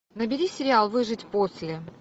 набери сериал выжить после